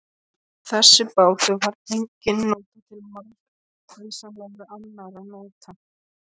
Þessi bátur var einnig til margvíslegra annarra nota.